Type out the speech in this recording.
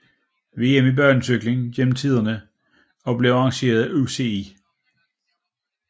VM i banecykling gennem tiden og blev arrangeret af UCI